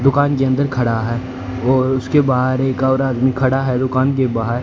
दुकान के अंदर खड़ा है और उसके बाहर और एक आदमी खड़ा है दुकान के बाहर--